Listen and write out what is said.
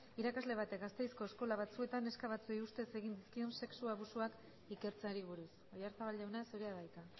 irakasle batek gasteizko eskola batzuetan neska batzuei ustez egin dizkien sexu abusuak ikertzeari buruz oyarzabal jauna zurea da hitza